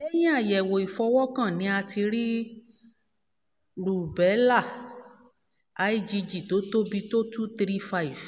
lẹ́yìn àyẹ̀wò ìfọwọ́kàn ni a ti rí rùbẹ́là lgg tó tóbi tó two three five